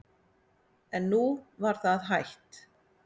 En nú var það hætt.